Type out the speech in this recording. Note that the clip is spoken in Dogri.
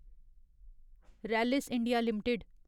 Rallis India limited